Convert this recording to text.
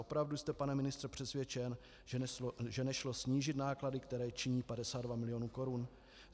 Opravdu jste, pane ministře, přesvědčen, že nešlo snížit náklady, které činí 52 milionů korun?